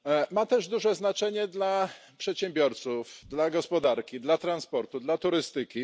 Ma też duże znaczenie dla przedsiębiorców, dla gospodarki, dla transportu, dla turystyki.